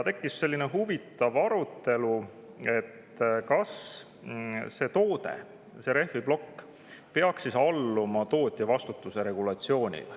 Tekkis huvitav arutelu selle üle, et kas see toode, rehviplokk, peaks alluma tootjavastutuse regulatsioonile.